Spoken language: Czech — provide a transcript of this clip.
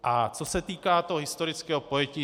A co se týká toho historického pojetí.